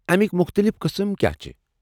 امیٚکۍ مختلف قٕسم کیٚاہ چھِ؟